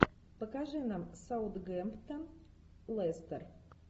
покажи нам саутгемптон лестер